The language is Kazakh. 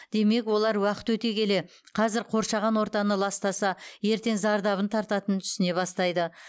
демек олар уақыт өте келе қазір қоршаған ортаны ластаса ертең зардабын тартатынын түсіне бастайды